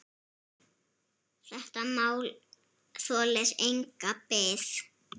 Þetta mál þolir enga bið.